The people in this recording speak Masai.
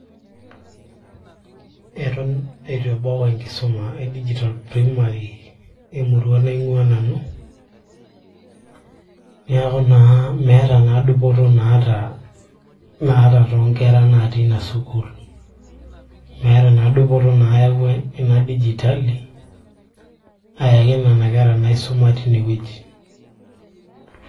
eton eitu ebau enkisuma e digital primary emurua naing'ua nanu niaku naa meeta naa dupoto naata naata toonkera natii ina sukuul meeta naa dupoto nayawua ina dijitali ayaki nena kera nisuma tinewueji.